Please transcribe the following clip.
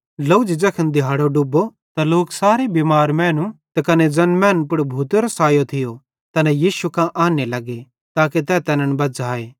ड्लोझ़ी ज़ैखन दिहाड़ो डुब्बो त लोक सारे बिमार मैनू त कने ज़ैन मैनन् पुड़ भूतेरो सायो थियो तैना यीशु कां आन्ने लग्गे ताके तै तैनन् बज़्झ़ाए